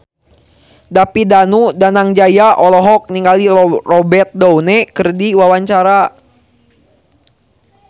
David Danu Danangjaya olohok ningali Robert Downey keur diwawancara